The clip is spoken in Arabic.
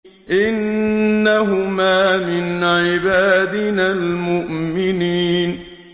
إِنَّهُمَا مِنْ عِبَادِنَا الْمُؤْمِنِينَ